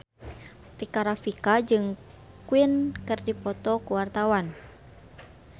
Rika Rafika jeung Queen keur dipoto ku wartawan